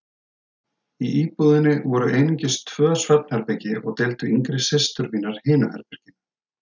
Í íbúðinni voru einungis tvö svefnherbergi og deildu yngri systur mínar hinu herberginu.